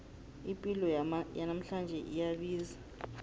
ipilo yanamhlanje iyabiza